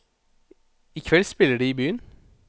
I kveld spiller de i byen.